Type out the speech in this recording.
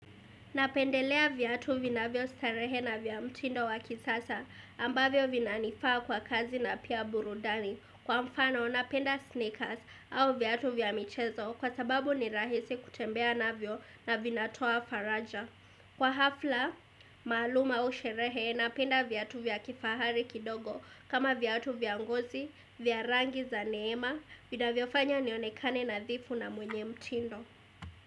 Napendelea viatu vinavyo starehe na vya mtindo wa kisasa ambavyo vinanifaa kwa kazi na pia burudani. Kwa mfano, napenda sneakers au viatu vya michezo kwa sababu ni rahisi kutembea navyo na vinatoa faraja. Kwa ghafla, maalum au sherehe, napenda viatu vya kifahari kidogo kama viatu vya ngozi, vya rangi za neema, vinavyofanya nionekane nadhifu na mwenye mtindo.